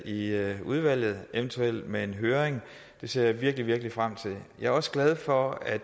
i udvalget eventuelt ved en høring det ser jeg virkelig frem til jeg er også glad for at